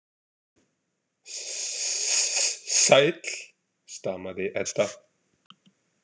Sss sæll, stamaði Edda.